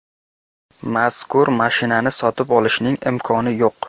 Mazkur mashinani sotib olishning imkoni yo‘q.